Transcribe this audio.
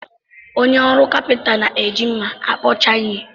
Onye ọrụ kapịnta na-eji mmá a kpụcha ihe.